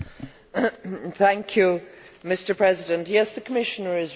Mr President, yes, the Commissioner is right.